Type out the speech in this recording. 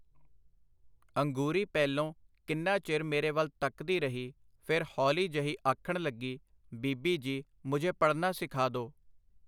ਅੰਗੂਰੀ ਪਹਿਲੋਂ ਕਿੰਨਾ ਚਿਰ ਮੇਰੇ ਵੱਲ ਤੱਕਦੀ ਰਹੀ, ਫੇਰ ਹੌਲੀ ਜਹੀ ਆਖਣ ਲਗੀ, ਬੀਬੀ ਜੀ ਮੁਝੇ ਪੜ੍ਹਨਾ ਸਿਖਾ ਦੋ .